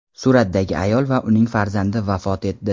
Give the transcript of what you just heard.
suratdagi ayol va uning farzandi vafot etdi.